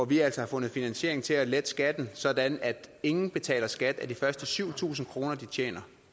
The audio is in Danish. vi altså fundet finansiering til at lette skatten sådan at ingen betaler skat af de først syv tusind kr de tjener